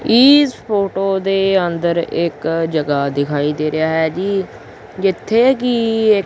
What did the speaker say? is photo ਦੇ ਅੰਦਰ ਇੱਕ ਜਗਾ ਦਿਖਾਈ ਦੇ ਰਿਹਾ ਹੈ ਜੀ ਜਿੱਥੇ ਕਿ--